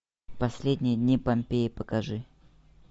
последние дни помпеи покажи